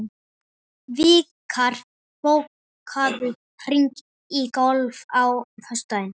Vikar, bókaðu hring í golf á föstudaginn.